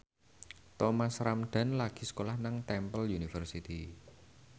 Thomas Ramdhan lagi sekolah nang Temple University